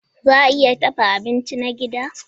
Za a iya dafa abinci na gida?